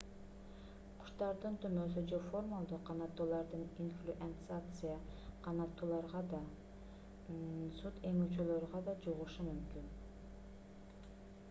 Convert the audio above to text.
куштардын тумоосу же формалдуу канаттулардын инфлюэнцасы канаттууларга да сүт эмүүчүлөргө да жугушу мүмкүн